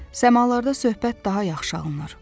Səmalarda söhbət daha yaxşı alınır.